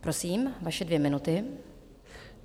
Prosím, vaše dvě minuty.